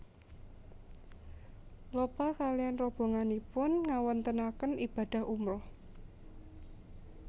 Lopa kaliyan robonganipun ngawontenaken ibadah umroh